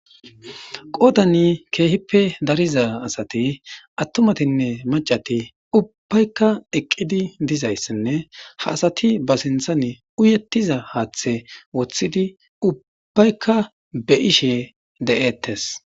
Qootani keehippe dariza asati attumatinne macati ubbbaykka eqqidi dizayssinne ha asati ba sinthane uyetiza haaththe woththidi ubbaykka be ishe de'eettes.